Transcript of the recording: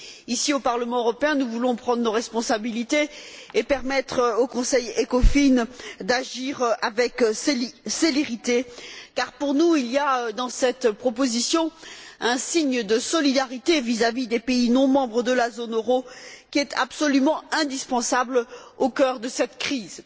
Ici, au Parlement européen, nous voulons prendre nos responsabilités et permettre au Conseil Ecofin d'agir avec célérité car, pour nous, il y a dans cette proposition un signe de solidarité vis à vis des pays non membres de la zone euro qui est absolument indispensable au cœur de cette crise.